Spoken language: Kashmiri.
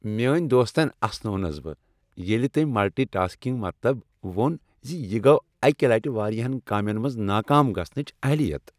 میٲنۍ دوستن اسنووُس بہٕ ییٚلہ تٔمۍ ملٹی ٹاسکنگ مطلب وُن زِ یہ گو اکہ لٹہ واریاہن کامین منز ناکام گژھنٕچ اہلیت ۔